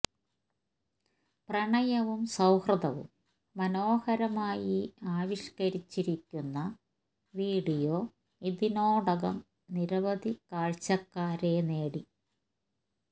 പ്രണയവും സൌഹൃദവും മനോഹരമായി ആവിഷ്കരിച്ചിരിക്കുന്ന വീഡിയോ ഇതിനോടകം നിരവധി കാഴ്ച്ചക്കാരെ നേടി